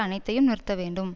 அனைத்தையும் நிறுத்தவேண்டும்